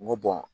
N ko